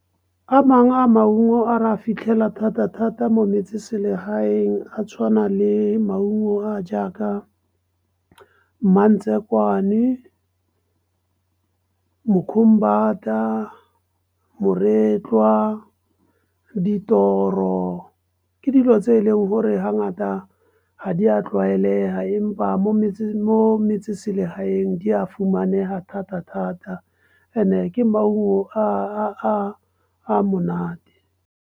A mangwe a maungo a re a fitlhela thata-thata mo metseselegaeng a tshwana le maungo a jaaka , moretlwa, . Ke dilo tse e leng gore ga ngata ga di a tla tlwaelega empa mo metseselegaeng di a fumane di thata-thata e ne ke maungo a monate.